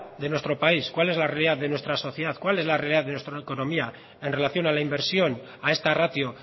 de nuestro país cuál es la realidad de nuestra sociedad cuál es la realidad de nuestra economía en relación a la inversión a esta ratio